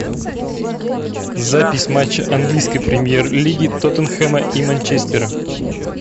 запись матча английской премьер лиги тоттенхэма и манчестера